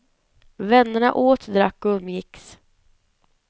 Vännerna åt, drack och umgicks.